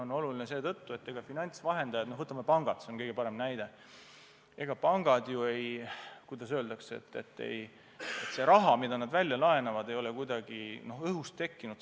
See on oluline seetõttu, et ega finantsvahendajate raha – võtame pangad, see on kõige parem näide –, see raha, mida nad välja laenavad, ei ole kuidagi õhust tekkinud.